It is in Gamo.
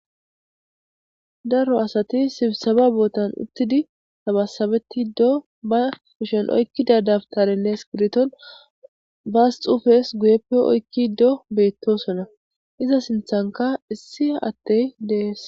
daro asati sibsaba bootan uttidi tabasabeti do ba kushen oykkida dabtarenne skiriton baas xufes guyeppe oykki do beettosona iza sinthanka issi attey dees